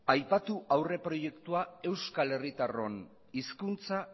aipatu aurre proiektua euskal herritarron hizkuntza